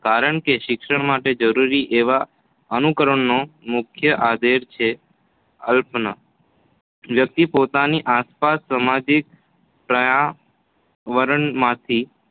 કારણ કે શિક્ષણ માટે જરૂરી એવા અનુકરણનો મુખ્ય આધાર છે અવલોકન વ્યક્તિ પોતાની આસપાસના સામાજિક પર્યાવરણમાંથી